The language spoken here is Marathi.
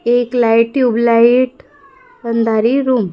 एक लाईट ट्यूबलाईट अंधारी रूम --